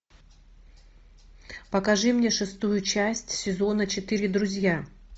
покажи мне шестую часть сезона четыре друзья